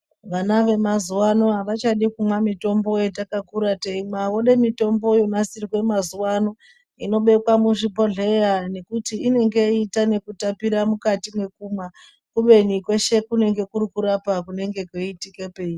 Vana vamazuva ano havachadi kumwa mitombo yatakakura teimwa. Vode mitombo yonasirwe mazuva anobekwa muzvibhedhleya nekuti inenge yeiita nekutapira mukati mekumwa. Kubeni mweshe kunenge kuri kurapa kunenge kweiitike peiri.